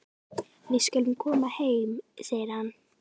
Við skulum koma heim, segir hann.